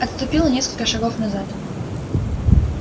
отступил на несколько шагов назад